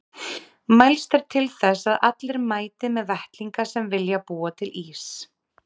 Mælst er til þess að allir mæti með vettlinga sem vilja búa til ís.